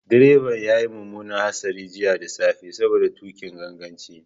Direba ya yi mummunar hatsari jiya da safe saboda tuƙin ganganci.